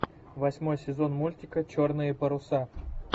восьмой сезон мультика черные паруса